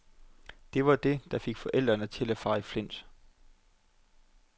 Det var det, der fik forældrene til at fare i flint.